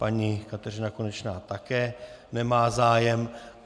Paní Kateřina Konečná také nemá zájem.